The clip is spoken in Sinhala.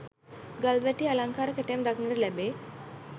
ගල්වැටෙහි අලංකාර කැටයම් දක්නට ලැබේ.